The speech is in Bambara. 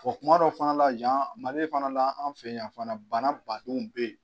Bɔn tuma dɔw fana la yan ,Mali fana la an fɛ yan fana bana badenw bɛ yen